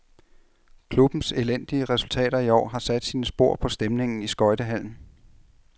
Klubbens elendige resultater i år har sat sine spor på stemningen i skøjtehallen.